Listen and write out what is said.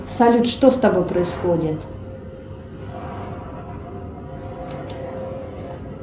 салют что с тобой происходит